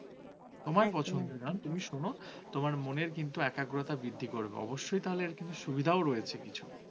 তোমার মনের কিন্তু একাগ্রতা বৃদ্ধি করবে অবশ্যই তাহলে কিন্তু সুবিধাও রয়েছে কিছু